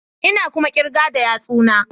Ina kuma kirga da yatsuna